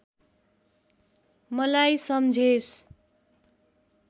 मलाई सम्झेस्